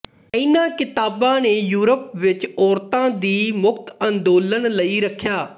ਇਨ੍ਹਾਂ ਕਿਤਾਬਾਂ ਨੇ ਯੂਰਪ ਵਿੱਚ ਔਰਤਾਂ ਦੀ ਮੁਕਤ ਅੰਦੋਲਨ ਲਈ ਰੱਖਿਆ